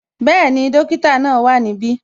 Bẹẹni, dókítà náà wá ní ibi